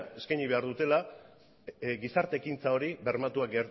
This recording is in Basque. eskaini behar dutela gizarte ekintza hori bermatua